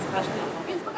Xoş gəlmisiniz, Xankəndi.